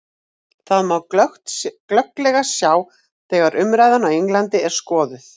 Það má glögglega sjá þegar umræðan á Englandi er skoðuð.